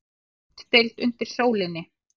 HLUTDEILD UNDIR SÓLINNI